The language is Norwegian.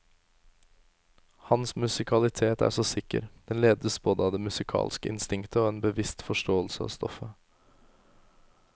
Hans musikalitet er så sikker, den ledes både av det musikalske instinktet og en bevisst forståelse av stoffet.